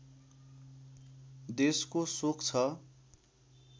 देशको शोक छ